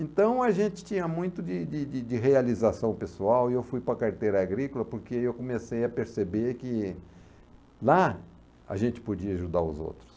Então a gente tinha muito de de de de realização pessoal e eu fui para a carteira agrícola porque eu comecei a perceber que lá a gente podia ajudar os outros.